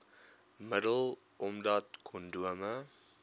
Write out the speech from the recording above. middel omdat kondome